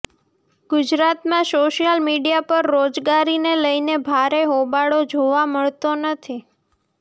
ગુજરાતમાં social media પર રોજગારીને લઈને ભારે હોબાળો જોવા નથી મળતો